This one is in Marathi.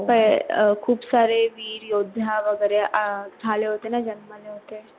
हे खूप सारे वीर योधा वागेरे झाले होते अह ना जंग मधे